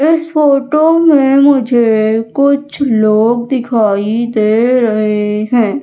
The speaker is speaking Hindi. इस फोटो में मुझे कुछ लोग दिखाई दे रहे हैं।